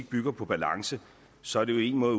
bygger på balance så er det jo én måde